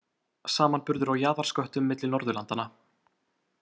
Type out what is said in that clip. Samanburður á jaðarsköttum milli Norðurlandanna.